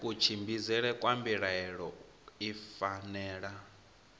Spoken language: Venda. kutshimbidzele kwa mbilaelo i fanela